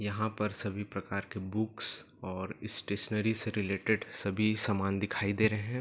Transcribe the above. यहाँ पर सब भी प्रकार के बुक्स और स्टेशनरी से रिलेटेड सभी सामान दिखाई दे रहे है।